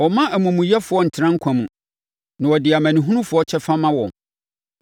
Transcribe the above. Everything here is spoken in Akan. Ɔmma amumuyɛfoɔ ntena nkwa mu, na ɔde amanehunufoɔ kyɛfa ma wɔn.